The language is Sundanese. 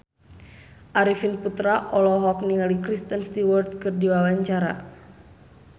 Arifin Putra olohok ningali Kristen Stewart keur diwawancara